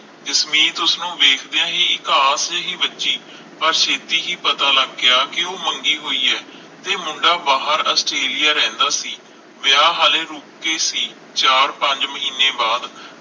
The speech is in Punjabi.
ਜਸਮੀਤ ਉਸਨੂੰ ਵੇਖਦਿਆਂ ਹੀ ਇਕਾਸ ਜਿਹੀ ਵੱਜੀ ਪਰ ਛੇਤੀ ਹੀ ਪਤਾ ਲੱਗ ਗਿਆ ਕਿ ਉਹ ਮੰਗੀ ਹੋਈ ਹੈ ਤੇ ਮੁੰਡਾ ਬਾਹਰ ਆਸਟ੍ਰੇਲੀਆ ਰਹਿੰਦਾ ਸੀ ਵਿਆਹ ਹਲੇ ਰੁਕ ਕੇ ਸੀ ਚਾਰ ਪੰਜ ਮਹੀਨੇ ਬਾਅਦ